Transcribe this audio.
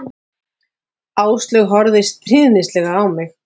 Áslaug horfði stríðnislega á mig.